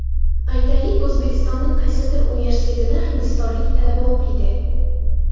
Aytaylik, O‘zbekistonning qaysidir universitetida Hindistonlik talaba o‘qiydi.